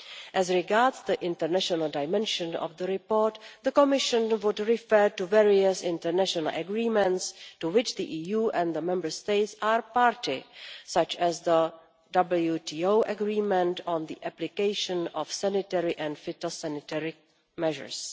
As regards the international dimension of the report, the Commission would refer to various international agreements to which the EU and the Member States are party, such as the WTO Agreement on the Application of Sanitary and Phytosanitary Measures.